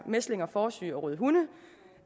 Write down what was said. mæslinger fåresyge og røde hunde